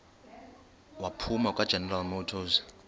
waphuma kwageneral motors